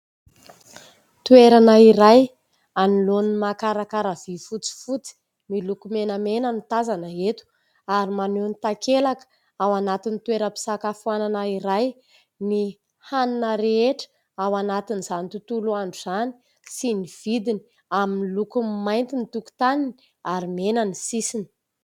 Toerana iray anoloan'ny mankarakara vy fotsifotsy miloko menamena no tazana eto ary maneho ny takelaka ao anatin'ny toera-pisakafoanana iray ny hanina rehetra ao anatin'izany tontolo andro izany sy ny vidiny amin'ny lokony mainty ny tokitaniny ary mena ny sisiny.